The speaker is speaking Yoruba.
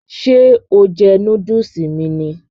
Ṣé o jẹ núdùsì mi ni?